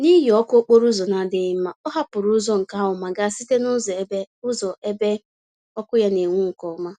N'ihi ọkụ okporo ụzọ na-adịghị mma, ọ hapụrụ ụzọ nke ahụ ma gaa site nụzọ ebe nụzọ ebe ọkụ ya n'enwu nke ọma.